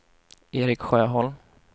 Erik Sjöholm